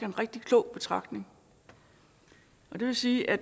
en rigtig klog betragtning og det vil sige at